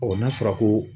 n'a fɔra ko